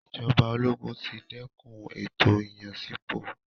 Ìjọba ológun ti dẹ́kun ètò ìyànsípò.